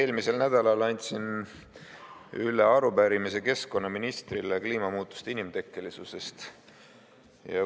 Eelmisel nädalal andsin üle keskkonnaministrile esitatud arupärimise kliimamuutuste inimtekkelisuse kohta.